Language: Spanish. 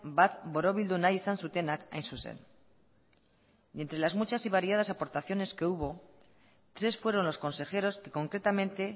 bat borobildu nahi izan zutenak hain zuzen y entre las muchas y variadas aportaciones que hubo tres fueron los consejeros que concretamente